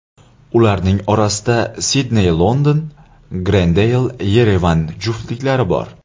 Ularning orasida Sidney−London, Grendeyl−Yerevan juftliklari bor.